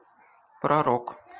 про рок